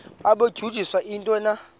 babudunjiswe yintoni na